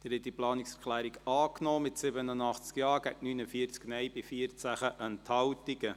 Sie haben diese Planungserklärung angenommen, mit 87 Ja- gegen 49 Nein-Stimmen bei 14 Enthaltungen.